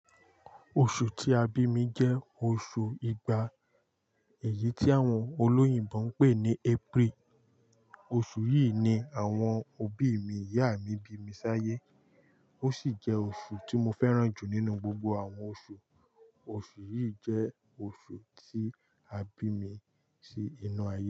Oṣù tí a bí mi jẹ́ oṣù igba, èyí tí àwọn olóyìnbo ń pè ní April. Oṣù yìí ni àwọn òbí mi ìyá mi bí mi sáyé. Ó sì jẹ́ oṣù tí mo fẹ́ràn jù nínú gbogbo àwọn oṣù. Oṣù yìí jẹ́ oṣù tí a bí mi sí inú ayé.